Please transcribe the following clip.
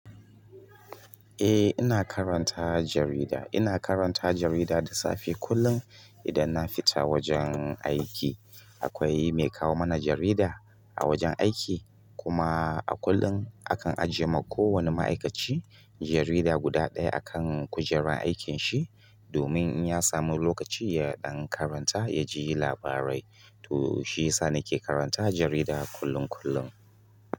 Ehh ina karanta jarida ina karanta jarida da safe kullum idan na fita aiki. Akwai mai kawo mana jarida a wajen aiki. Kuma a kullum a kan ajiye ma ko wani ma'aikaci jarida guda ɗaya a kan kujerar aikin shi, domin in ya samu lokaci ya ɗan karanta ya ji labarai. To shiyasa nake karanta jarida kullum kullum.